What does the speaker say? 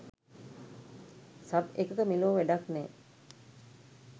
Sub එකක මෙලෝ වැඩක් නෑ.